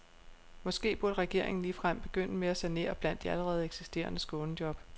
Måske burde regeringen ligefrem begynde med at sanere blandt de allerede eksisterende skånejob.